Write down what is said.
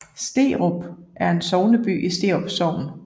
Sterup er sogneby i Sterup Sogn